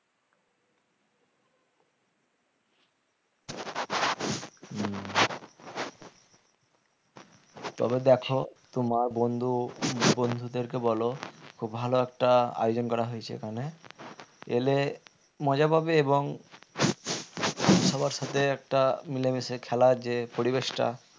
তবে দেখো তোমার বন্ধু বন্ধুদেরকে বল খুব ভালো একটা আয়োজন করা হয়েছে এখানে এলে মজা পাবে এবং সবার সাথে একটা মিলেমিশে খেলা যে পরিবেশটা